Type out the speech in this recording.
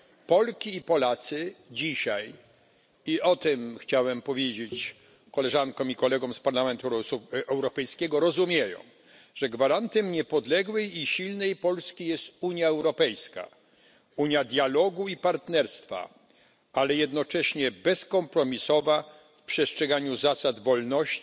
Polki i Polacy dzisiaj i o tym chciałem powiedzieć Koleżankom i Kolegom z Parlamentu Europejskiego rozumieją, że gwarantem niepodległej i silnej Polski jest Unia Europejska, unia dialogu i partnerstwa, ale jednocześnie bezkompromisowa w przestrzeganiu zasad wolności,